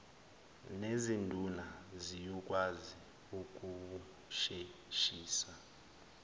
nezinduna siyokwazi ukuwusheshisa